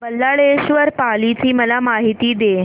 बल्लाळेश्वर पाली ची मला माहिती दे